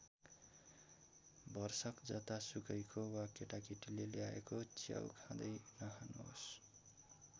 भरसक जतासुकैको वा केटाकेटीले ल्याएको च्याउ खाँदै नखानुहोस्।